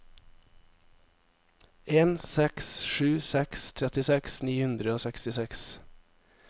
en seks sju seks trettiseks ni hundre og sekstiseks